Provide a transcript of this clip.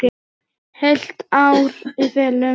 Heilt ár í felum.